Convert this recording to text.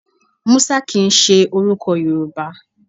Musa kìn í ṣe orúkọ Yorùbá